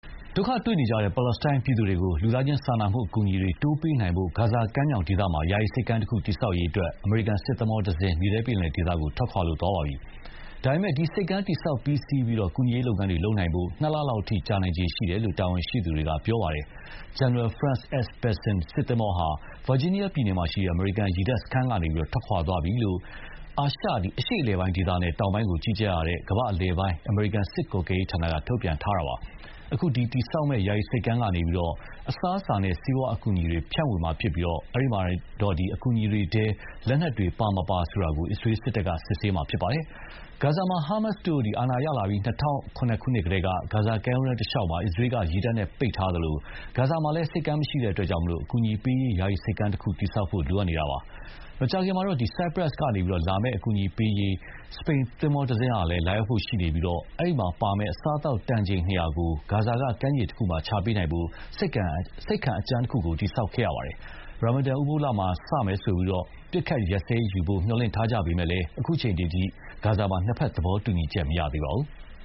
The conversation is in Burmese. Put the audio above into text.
ဒုက္ခတွေ့နေကြတဲ့ ပါလက်စတိုင်းပြည်သူတွေကို လူသားချင်းစာနာမှုအကူအညီတွေ တိုးပေးနိုင်ဖို့ ဂါဇာကမ်းမြောင်ဒေသမှာ ယာယီဆိပ်ကမ်းတခု တည်ဆောက်ရေးအတွက် အမေရိကန်စစ်သင်္ဘောတစင်းဟာ မြေထဲပင်လယ်ဒေသကို ထွက်ခွာသွားပါပြီ။ ဒါပေမဲ့လည်း ဒီဆိပ်ကမ်းတည်ဆောက်ပြီးစီးပြီး ကူညီရေးလုပ်ငန်းတွေလုပ်နိုင်ဖို့ နှစ်လလောက်အထိကို ကြာနိုင်ခြေရှိတယ်လို့ တာဝန်ရှိသူတွေက ပြောပါတယ်။ General France S.Besson စစ်သင်္ဘောဟာ ဗာဂျီးနီးယားပြည်နယ်မှာရှိတဲ့ အမေရိကန်ရေတပ်စခန်းကနေ ထွ က်ခွာသွားပြီလို့ အာရှအလယ်ပိုင်းဒေသနဲ့တောင်ပိုင်းကို ကြီးကြပ်ရတဲ့ ကမ္ဘာ့အလယ်ပိုင်း အမေရိကန်စစ်ကွပ်ကဲရေးဌာနက ထုတ်ပြန်ခဲ့ပါတယ်။ အခု ဒီတည်ဆောက်မယ့် ယာယီဆိပ်ကမ်းကနေ အစားအစာနဲ့ဆေးဝါးအကူအညီတွေ ဖြန့်ဝေမှာဖြစ်ပြီး အဲဒီမှာတော့ အကူအညီတွေထဲ လက်နက်တွေ ပါမပါဆိုတာကို အစ္စရေးစစ်တပ်က စစ်ဆေးမှာဖြစ်ပါတယ်။ ဂါဇာမှာ ဟာမတ်စ်တို့အာဏာရလာပြီး ၂၀၀၇ ခုနှစ်ကတည်းက ဂါဇာကမ်းရိုးတန်းတလျှောက် အစ္စရေးက ရေတပ်နဲ့ ပိတ်ထားသလို ဂါဇာမှာလည်း ဆိပ်ကမ်းမရှိတဲ့အတွက် အကူအညီပေးရေး ယာယီဆိပ်ကမ်းတခုဆောက်ဖို့ လိုအပ်နေတာပါ။ မကြာခင်မှာတော့ ဆိုက်ပရပ်စ်ကနေလာမယ့် အကူအညီပေးရေး စပိန်သင်္ဘောတစင်းလည်း လာရောက်ဖို့ရှိနေပါတယ်။ အဲဒီမှာပါမယ့် အစားအသောက် တန်ချိန် ၂၀၀ ကို ဂါဇာကကမ်းခြေမှာ ချပေးနိုင်ဖို့ ဆိပ်ခံအကြမ်းတခုကို တည်ဆောက်ခဲ့ရပါတယ်။ ရာမန်ဒန်ဥပုပ်လစတာနဲ့ အပစ်အခတ်ရပ်စဲရေးယူဖို့ မျှော်လင့်ထားကြပေမယ့်လည်း အခုအချိန်အထိ နှစ်ဘက်သဘောတူညီချက်မရသေးပါဘူး။